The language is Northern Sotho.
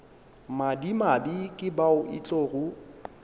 madimabe ke bao e tlogo